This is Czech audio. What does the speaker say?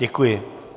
Děkuji.